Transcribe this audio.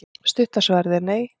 Stutta svarið er nei.